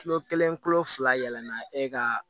Kilo kelen kilo fila yɛlɛnna e ka